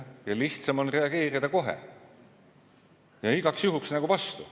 Ja lihtsam on reageerida kohe ja igaks juhuks nagu vastu.